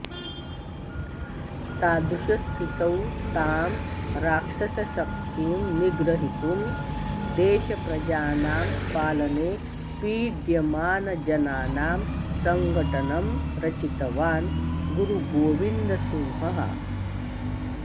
तादृशस्थितौ तां राक्षसशक्तिं निग्रहीतुं देशप्रजानां पालने पीड्यमानजनानां सङ्घटनं रचितवान् गुरुगोविन्दसिंहः